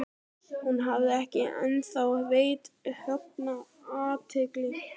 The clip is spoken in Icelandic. Hún hafði ekki ennþá veitt Högna athygli.